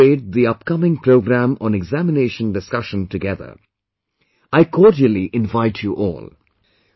We will all celebrate the upcoming program on Examination Discussion together I cordially invite you all